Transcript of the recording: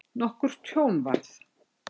Nokkurt tjón varð.